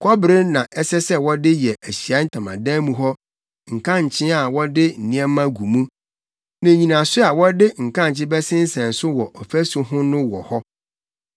Kɔbere na ɛsɛ sɛ wɔde yɛ Ahyiae Ntamadan mu hɔ nkankye a wɔde nneɛma gu mu, ne nnyinaso a wɔde nkankyee bɛsensɛn so wɔ ɔfasu ho no wɔ hɔ.